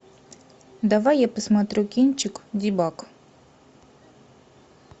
давай я посмотрю кинчик дебаг